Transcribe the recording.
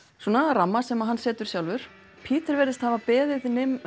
ramma sem hann setur sjálfur virðist hafa beðið